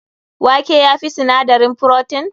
Wake ya fi sinadarin frotin?